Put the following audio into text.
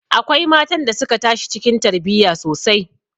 Akwai matan da suka tashi cikin tarbiyya sosai